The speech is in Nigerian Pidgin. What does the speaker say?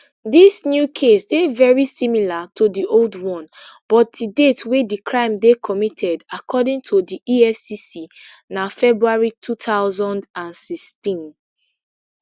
dis new case dey very similar to di old one but di date wey di crime dey committed according to di efcc na february two thousand and sixteen